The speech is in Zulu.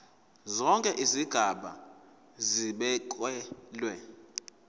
zonke izigaba zibekelwe